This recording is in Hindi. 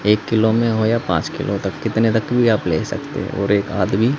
एक किलो में हो या पांच किलो तक कितने तक भी आप ले सकते हो और एक आदमी--